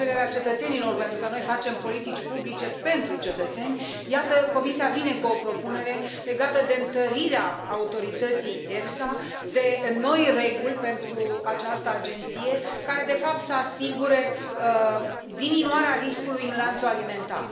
La cererea cetățenilor, pentru că noi facem politici publice pentru cetățeni, iată, Comisia vine cu o propunere legată de întărirea autorității EFSA, de noi reguli pentru această agenție, care, de fapt, să asigure diminuarea riscului în lanțul alimentar.